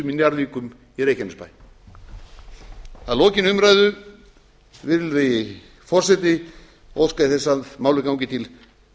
njarðvíkum í reykjanesbæ að lokinni umræðu virðulegi forseti óska ég þess að málið gangi til